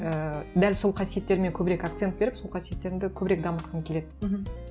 ііі дәл сол қасиеттеріме көбірек акцент беріп сол қасиеттерімді көбірек дамытқым келеді мхм